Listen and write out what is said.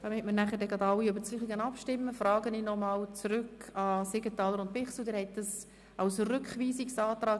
Damit nachher alle über dasselbe abstimmen, frage ich die Grossräte Siegenthaler und Bichsel noch einmal: